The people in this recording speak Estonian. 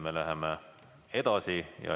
Me läheme edasi.